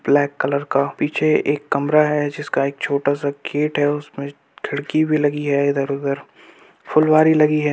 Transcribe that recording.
Black colour का पीछे एक कमरा है जिसका एक छोटा सा गेट है उसमें खिड़की भी लगी है इधर उधर फुलवारी लगी है।